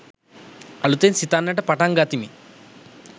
අලුතෙන් සිතන්නට පටන් ගතිමි.